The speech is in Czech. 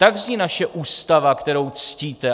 Tak zní naše Ústava, kterou ctíte.